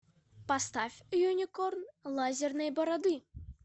поставь юникорн лазерной бороды